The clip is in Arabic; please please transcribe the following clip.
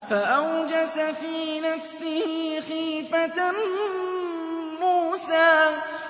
فَأَوْجَسَ فِي نَفْسِهِ خِيفَةً مُّوسَىٰ